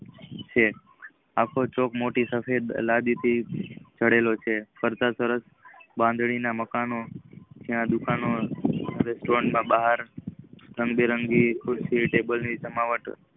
આખો ચોક મોટી સફેદ લડી થી જાડેલોછે બહુ સરસ બાંધણી ના મકાનો જ્યાં દુકનો રેસ્ટોરાં નાબહાર રંગબેરંગી કેબલ ની સજવાત છે.